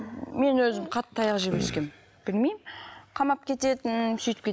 мен өзім қатты таяқ жеп өскенмін білмеймін қамап кететін сөйтіп